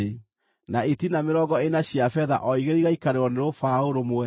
na itina mĩrongo ĩna cia betha o igĩrĩ igaikarĩrwo nĩ rũbaũ rũmwe.